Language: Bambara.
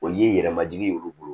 O ye yɛrɛmajigin y'olu bolo